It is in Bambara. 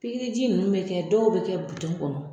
Pikriji nunnu be kɛ , dɔw be kɛ kɔnɔ.